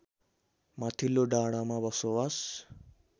माथिल्लो डाँडामा बसोबास